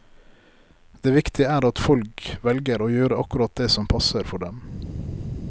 Det viktige er at folk velger å gjøre akkurat det som passer for dem.